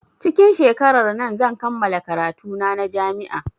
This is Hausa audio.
Cikin shekarar nan zan kammala karatu na a jami'a